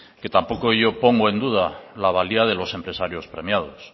que tampoco yo pongo en duda la valía de los empresarios premiados